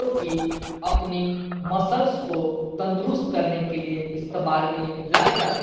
जोकि अपनी मसल्स को तंदुरुस्त करने के लिए इस्तेमाल में लाए जाते--